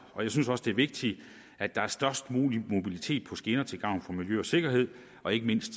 og jeg synes også det er vigtigt at der er størst mulig mobilitet på skinner til gavn for miljø og sikkerhed og ikke mindst